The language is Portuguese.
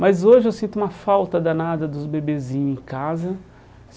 Mas hoje eu sinto uma falta danada dos bebezinhos em casa.